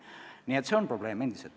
Nii et see on endiselt probleem.